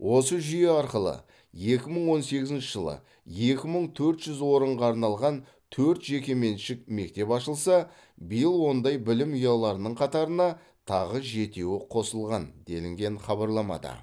осы жүйе арқылы екі мың он сегізінші жылы екі мың төрт жүз орынға арналған төрт жекеменшік мектеп ашылса биыл ондай білім ұяларының қатарына тағы жетеуі қосылған делінген хабарламада